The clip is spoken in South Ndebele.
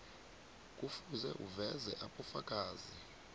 kufuze uveze ubufakazi